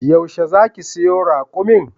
Yaushe zaki siyo raƙumin?